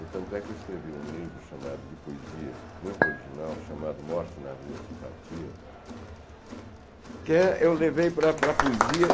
Tanto é que eu escrevi um livro chamado, de poesia, muito original, chamado Morte na Rua Simpatia, que eu levei para para a poesia.